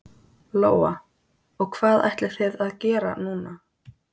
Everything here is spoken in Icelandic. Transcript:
Lóa: Og hvað ætlið þið að gera núna?